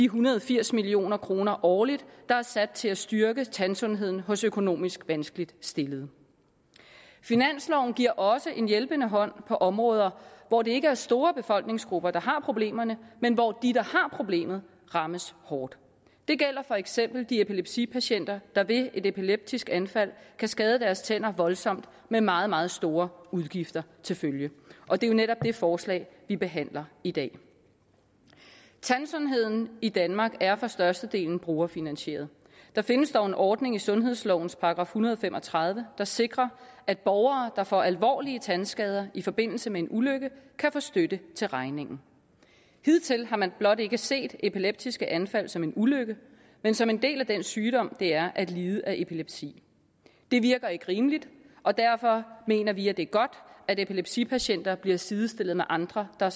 hundrede og firs million kroner årligt der er sat af til at styrke tandsundheden hos økonomisk vanskeligt stillede finansloven giver også en hjælpende hånd på områder hvor det ikke er store befolkningsgrupper der har problemerne men hvor de har problemet rammes hårdt det gælder for eksempel de epilepsipatienter der ved et epileptisk anfald kan skade deres tænder voldsomt med meget meget store udgifter til følge og det er jo netop det forslag vi behandler i dag tandsundheden i danmark er for størstedelen brugerfinansieret der findes dog en ordning i sundhedslovens § en hundrede og fem og tredive der sikrer at borgere der får alvorlige tandskader i forbindelse med en ulykke kan få støtte til regningen hidtil har man blot ikke set epileptiske anfald som en ulykke men som en del af den sygdom det er at lide af epilepsi det virker ikke rimeligt og derfor mener vi at det er godt at epilepsipatienter bliver sidestillet med andre der